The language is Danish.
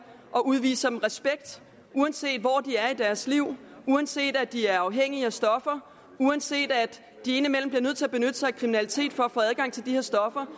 og udviser dem respekt uanset hvor de er i deres liv uanset at de er afhængige af stoffer uanset at de indimellem bliver nødt til at benytte sig af kriminalitet for at få adgang til de her stoffer